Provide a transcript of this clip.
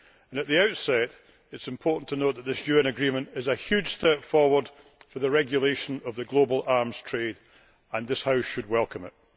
At the outset it is important to note that this UN agreement is a huge step forward for the regulation of the global arms trade and this House should welcome it.